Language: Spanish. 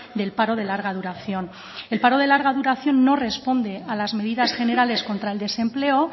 del paro de larga duración el paro de larga duración no responde a las medidas generales contra el desempleo